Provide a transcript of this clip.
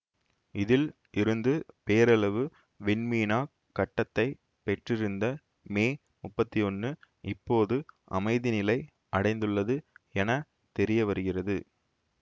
இதில் இருந்து பேரளவு விண்மீனாக் கட்டத்தைப் பெற்றிருந்த மே முப்பத்தி ஒன்னு இப்போது அமைதிநிலை அடைந்துள்ளது என தெரியவருகிறது